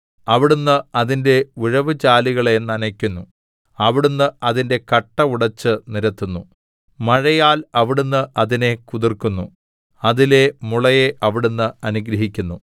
അവിടുന്ന് അതിന്റെ ഉഴവുചാലുകളെ നനയ്ക്കുന്നു അവിടുന്ന് അതിന്റെ കട്ട ഉടച്ച് നിരത്തുന്നു മഴയാൽ അവിടുന്ന് അതിനെ കുതിർക്കുന്നു അതിലെ മുളയെ അവിടുന്ന് അനുഗ്രഹിക്കുന്നു